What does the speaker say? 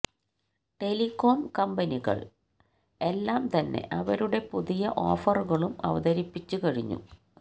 telecom കമ്പനികൾ എല്ലാം തന്നെ അവരുടെ പുതിയ ഓഫറുകളും അവതരിപ്പിച്ചു കഴിഞ്ഞു